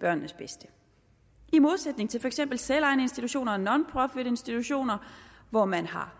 børnenes bedste i modsætning til for eksempel selvejende institutioner og nonprofitinstitutioner hvor man har